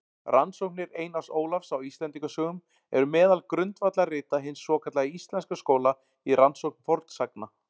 Rannsóknir Einars Ólafs á Íslendingasögum eru meðal grundvallarrita hins svokallaða íslenska skóla í rannsókn fornsagna.